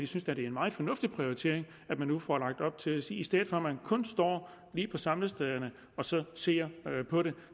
synes at det er en meget fornuftig prioritering at man nu får lagt op til at sige at i stedet for at man kun står lige på samlestederne og ser ser på det